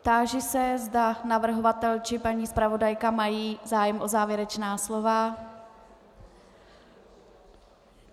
Táži se, zda navrhovatel či paní zpravodajka mají zájem o závěrečná slova.